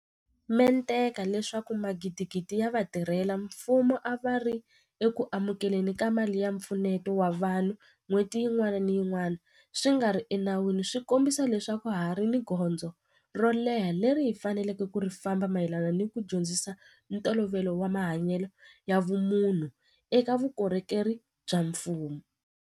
mente ka leswaku magidigidi ya vatirhela mfumo a va ri eku amukele ni ka mali ya mpfuneto wa vanhu n'hweti yin'wana ni yin'wana swi nga ri ena wini swi kombisa leswaku ha ha ri ni gondzo ro leha leri hi faneleke ku ri famba mayelana ni ku dyondzisa ntolovelo wa mahanyelo ya vumunhu eka vukorhokeri bya mfumo.